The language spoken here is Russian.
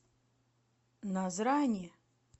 назрани